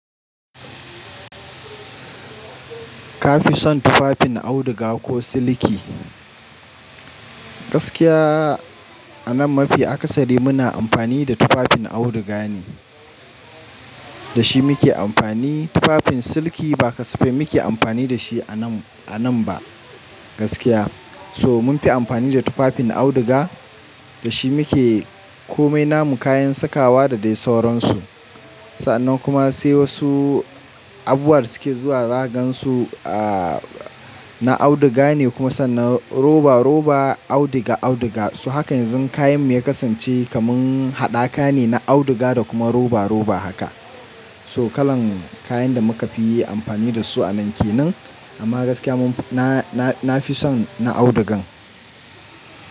Kafi son tufafin auduga ko siliki? Gaskiya anan mafi aksari muna amfani da tufafin auduga ne. Da shi muke amfani. Tufafin siliki ba kasafai muke amfani da shi anan, anan ba gaskiya. So munfi amfani da tufafin auduga. Da shi muke komai, namu kayan sakawa da dai sauransu. Sannan kuma sai wasu abubuwa da suke zuwa zaga gansu, na auduga ne kuma sannan roba-roba, auduga-auduga. So hakan yanzu kayan mu ya kasance kaman haɗaka ne, na auduga da kuma roba-roba haka. So kalan kayan da muka fi yi amfani da su anan kenan. Amma gaskiya mun, na nafi son na audugan.